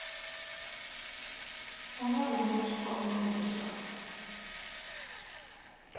u nga rhumelela xikombelo xa